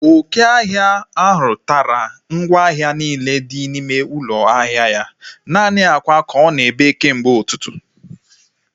Oke ọhịa ahụ tara ngwa ahịa niile dị n'ime ụlọ ahịa ya. Naanị akwa ka ọ na-ebe kemgbe ụtụtụ